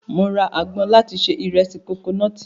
Mo ra agbọn láti se ìrẹsì kokonọ́ọ̀tì.